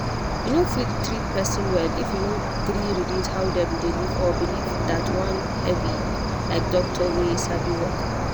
you no fit treat person well if you no gree relate how dem dey live or believe that one heavy like doctor wey sabi work.